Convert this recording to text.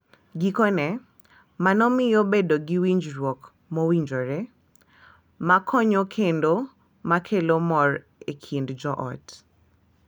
Gikone, mano miyo bedo gi winjruok mowinjore, ma konyo kendo ma kelo mor e kind joot.